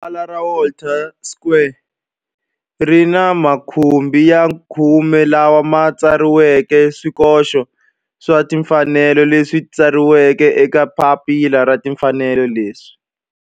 Rivala ra Walter Sisulu Square ri ni makhumbi ya khume lawa ma tsariweke swikoxo swa timfanelo leswi tsariweke eka papila ra timfanelo leswi